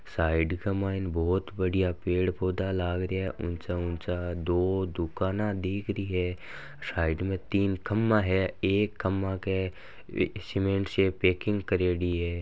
साईड बहुत बढ़िया पेड़ पोधा लग रहा है उचा उचा दो दुकान दिख रही है साइड में तीन खभा है एक खभा के सिमनेट से पेकिंग करेड़ी है।